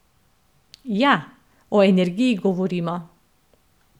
Ja, o energiji govorimo.